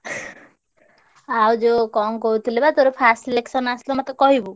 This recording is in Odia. ଆଉ ଯୋଉ କଣ କହୁଥିଲି ବା ତୋର first selection ଆସିଲେ ମତେ କହିବୁ।